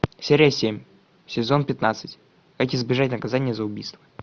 серия семь сезон пятнадцать как избежать наказание за убийство